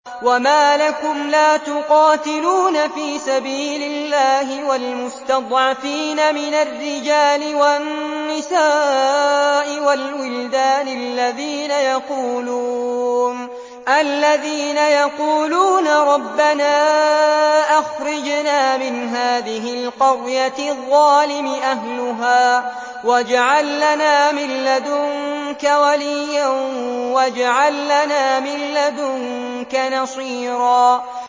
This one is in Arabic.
وَمَا لَكُمْ لَا تُقَاتِلُونَ فِي سَبِيلِ اللَّهِ وَالْمُسْتَضْعَفِينَ مِنَ الرِّجَالِ وَالنِّسَاءِ وَالْوِلْدَانِ الَّذِينَ يَقُولُونَ رَبَّنَا أَخْرِجْنَا مِنْ هَٰذِهِ الْقَرْيَةِ الظَّالِمِ أَهْلُهَا وَاجْعَل لَّنَا مِن لَّدُنكَ وَلِيًّا وَاجْعَل لَّنَا مِن لَّدُنكَ نَصِيرًا